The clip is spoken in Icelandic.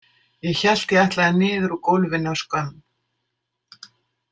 Ég hélt ég ætlaði niður úr gólfinu af skömm.